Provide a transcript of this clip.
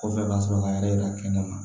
Kɔfɛ ka sɔrɔ k'a yɛrɛ yira kɛnɛma